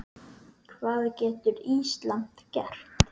Hvað getur Ísland gert?